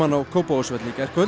á Kópavogsvelli í gærkvöld